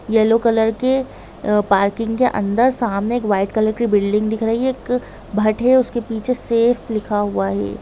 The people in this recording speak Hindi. येल्लो कलर के आ पार्किंग के अंदर सामने एक वाईट कलर कि बिल्डिंग दिक रही हैं एक भट उस के पीछे सेफ लिखा हुआ हैं।